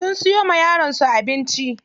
Sun siyo wa yaron su abinci.